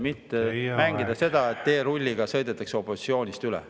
… mitte mängida seda, et teerulliga sõidetakse opositsioonist üle.